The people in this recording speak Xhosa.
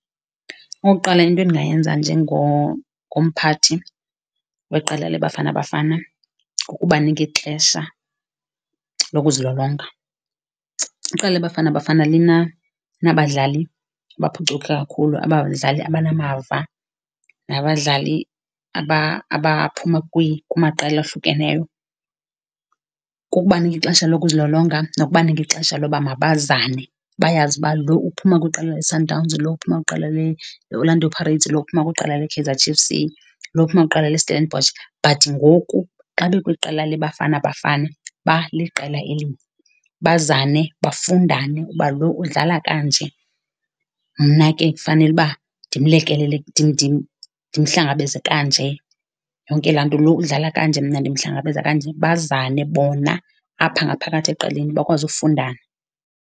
Okokuqala, into endingayenza njengomphathi weqela leBafana Bafana kukubanika ixesha lokuzilolonga. Iqela leBafana Bafana linabadlali abaphucuke kakhulu, abadlali abanamava nabadlali abaphuma kumaqela ohlukeneyo. Kukubanika ixesha lokuzilolonga nokubanika ixesha loba mabazane bayazi uba lo uphuma kwiqela leSundowns, lo uphuma kwiqela leOrlando Pirates, lo uphumla kwiqela leKaizer Chiefs, lo uphuma kwiqela leStellenbosch but ngoku xa bekwiqela leBafana Bafana baliqela elinye. Bazane, bafundane uba lo udlala kanje, mna ke kufanele uba ndimlekelele, ndimhlangabeze kanje yonke laa nto. Lo udlala kanje, mna ndimhlangabeza kanje, bazane bona apha ngaphakathi eqeleni bakwazi ufundana.